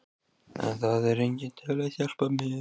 En það er enginn til að hjálpa mér.